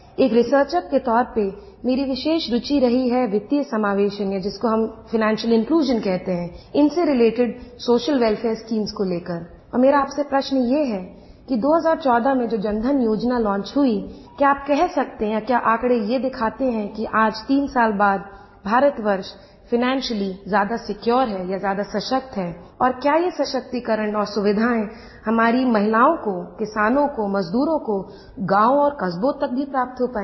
एक रिसर्चर के तौर पर मेरी विशेष रूचि रही है वित्तीय समावेश में जिसको हम फाइनेंशियल इन्क्लूजन इनसे रिलेटेड सोशल शीम्स को लेकर और मेरा आपसे प्रश्न ये है कि 2014 में जो जनधन योजना लॉन्च हुई क्या आप कह सकते हैं क्या आँकड़े ये दिखाते हैं कि आज तीन साल बाद भारतवर्ष फाइनेंशियली ज्यादा सिक्योर है या ज्यादा सशक्त है और क्या ये सशक्तिकरण और सुविधायें हमारी महिलाओं को किसानों को मजदूरों को गाँव और कस्बों तक भी प्राप्त हो पायी हैं